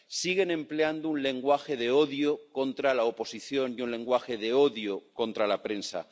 Siguen empleando un lenguaje de odio contra la oposición y un lenguaje de odio contra la prensa.